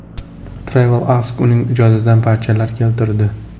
Travel Ask uning ijodidan parchalar keltirdi.